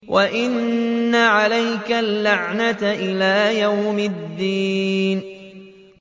وَإِنَّ عَلَيْكَ اللَّعْنَةَ إِلَىٰ يَوْمِ الدِّينِ